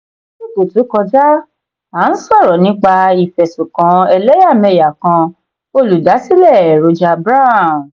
lásìkò tó kọjá a n sọrọ nípa ifẹsunkan ẹlẹyamẹya kan olùdásílẹ̀ roger brown.